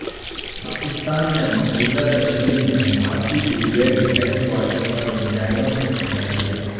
پاکستان نے مقبوضہ کشمیر میں بھارتی بریگیڈ ہیڈ کوارٹر پر میزائلوں سے حملہ کیا